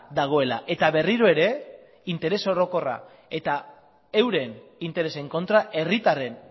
dagoela eta berriro ere interes orokorra eta euren interesen kontra herritarren